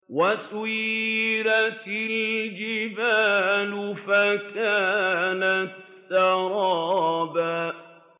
وَسُيِّرَتِ الْجِبَالُ فَكَانَتْ سَرَابًا